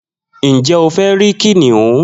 Njẹ o fẹ rí kìnìún?